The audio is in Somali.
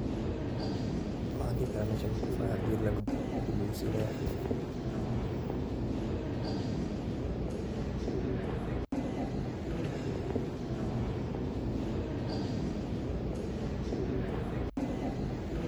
Waxaan dixi karaa meshan qof ayaa hadiyad lagudoonsinaya.